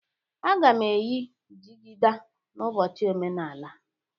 Aga m eyi jigida n'ụbọchị omenala.